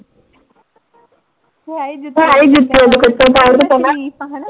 ਤੂੰ ਹੈ ਸਰੀਫ਼ ਆਂ ਹਨਾ।